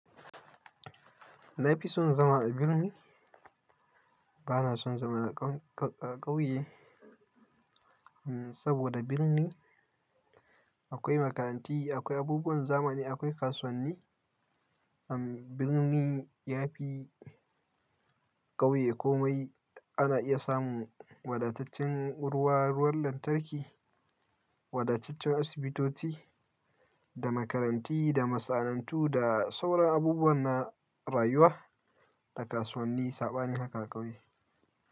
Na fi son zama a birni, ba na son zama a ƙauye, saboda birni akwai makaranti, akwai abubuwan zamani, akwai kasuwanni. Birni ya fi ƙauye komai, ana iya samun wadataccen ruwa, ruwan lantarki, wadataccen asibitoci da makaranti da masana'antu da sauran abubuwan na rayuwa, da kasuwanni, saɓanin haka a ƙauye.